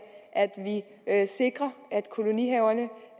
at vi sikrer at kolonihaverne